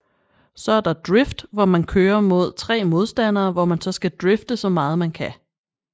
Så er der Drift hvor man køre mod 3 modstandere hvor man så skal drifte så meget man kan